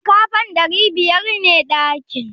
Shin ƙafa ɗari biyar ne ɗakin?